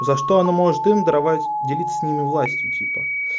за что она может им даровать делиться с ними властью типа